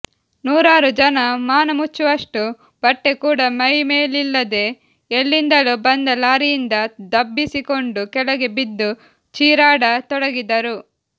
ನೂರಾರು ಜನ ಮಾನಮುಚ್ಚುವಷ್ಟು ಬಟ್ಟೆ ಕೂಡಾ ಮೈಮೇಲಿಲ್ಲದೇ ಎಲ್ಲಿಂದಲೋ ಬಂದ ಲಾರಿಯಿಂದ ದಬ್ಬಿಸಿಕೊಂಡು ಕೆಳಗೆಬಿದ್ದುಚೀರಾಡ ತೊಡಗಿದರು